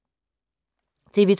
TV 2